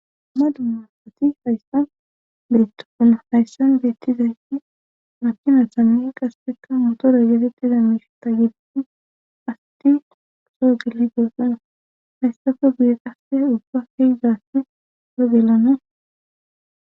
Ma dummasati hayssan betopuna hayssan beettizayti makina sammi qasepekka motoro geetettida miireta gibiin asti oosoo gili goossona hayssako bir qasse ubba kezaafi ro gelana